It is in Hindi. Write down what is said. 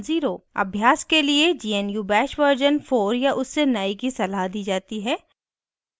अभ्यास के लिए gnu bash version 4 या उससे नए की सलाह दी जाती है